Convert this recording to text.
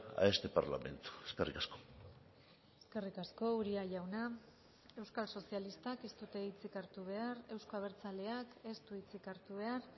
a este parlamento eskerrik asko eskerrik asko uria jauna euskal sozialistak ez dute hitzik hartu behar euzko abertzaleak ez du hitzik hartu behar